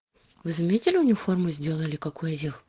вы заметили униформу сделали как у этих